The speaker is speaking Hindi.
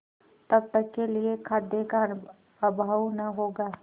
तब तक के लिए खाद्य का अभाव न होगा